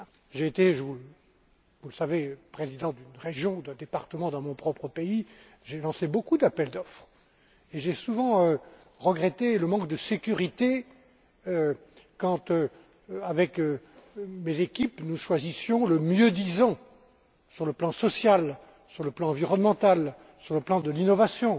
J'ai été, vous le savez, président d'une région, d'un département dans mon propre pays, j'ai lancé beaucoup d'appels d'offres et j'ai souvent regretté le manque de sécurité quand, avec mes équipes, nous choisissions le mieux disant sur le plan social, sur le plan environnemental, sur le plan de l'innovation.